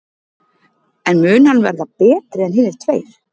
En mun hann verða betri en hinir tveir?